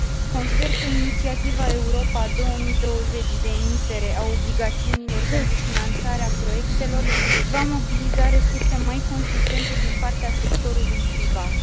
Consider că Inițiativa Europa 2020 de emitere a obligațiunilor pentru finanțarea proiectelor va mobiliza resurse mai consistente din partea sectorului privat.